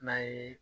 N'a ye